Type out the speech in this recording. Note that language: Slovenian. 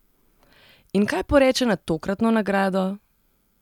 In kaj poreče na tokratno nagrado?